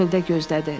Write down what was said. Çöldə gözlədi.